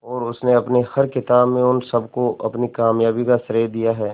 और उसने अपनी हर किताब में उन सबको अपनी कामयाबी का श्रेय दिया है